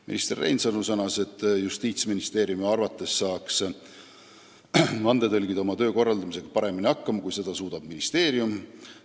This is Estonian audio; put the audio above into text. Minister Reinsalu sõnas, et Justiitsministeeriumi arvates saaksid vandetõlgid oma töö korraldamisega paremini hakkama kui ministeerium.